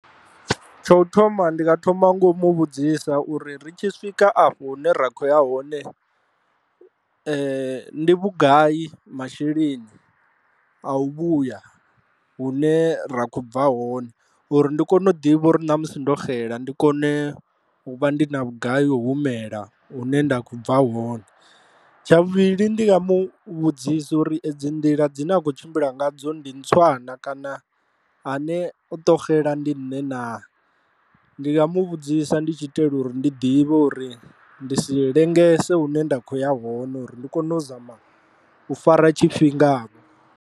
Tsha u thoma ndi nga thoma ngomu vhudzisa uri ri tshi swika afho hune ra kho ya hone ndi vhugai masheleni a u vhuya hune ra kho bva hone uri ndi kone u ḓivha uri na musi ndo xela ndi kone u vha ndi na vhugai yo humela hune nda kho bva hone, tsha vhuvhili ndi nga mu vhudzisa uri edzi nḓila dzine wa kho tshimbila ngadzo ndi ntswa na kana a ne o to xela ndi nṋe na, ndi nga mu vhudzisa ndi tshi itela uri ndi ḓivhe uri ndi si lengese hune nda kho ya hone uri ndi kone u zama u fara tshifhinga vho.